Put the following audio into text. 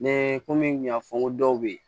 Ne ko n kun y'a fɔ n ko dɔw bɛ yen